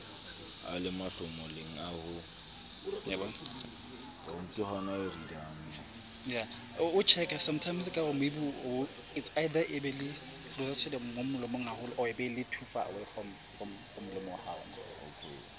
a le mahlomoleng a ho